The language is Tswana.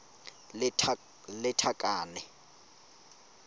lethakane